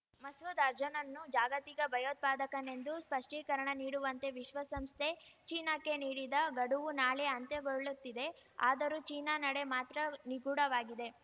ಮಸೂದ್ ಅಜರ್‌ನನ್ನು ಜಾಗತಿಕ ಭಯೋತ್ಪಾದಕನೆಂದು ಸ್ಪಷ್ಟೀಕರಣ ನೀಡುವಂತೆ ವಿಶ್ವಸಂಸ್ಥೆ ಚೀನಾಕ್ಕೆ ನೀಡಿದ ಗಡುವು ನಾಳೆ ಅಂತ್ಯಗೊಳ್ಳುತ್ತಿದೆ ಆದರೂ ಚೀನಾ ನಡೆ ಮಾತ್ರ ನಿಗೂಢವಾಗಿದೆ